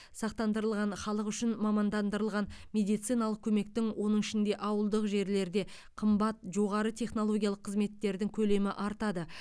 сақтандырылған халық үшін мамандандырылған медициналық көмектің оның ішінде ауылдық жерлерде қымбат жоғары технологиялық қызметтердің көлемі артады